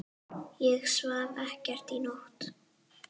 Ég svaf ekkert í nótt.